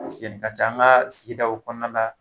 nin ka ca an ka sigidaw o fana la